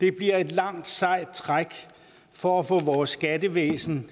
det bliver et langt sejt træk for at få vores skattevæsen